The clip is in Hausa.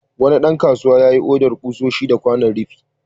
Wani ɗan kasuwa yayi odar ƙusoshi da kwanon rufi.